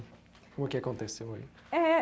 O que aconteceu aí? É.